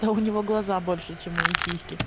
да у него глаза больше чем мои сиськи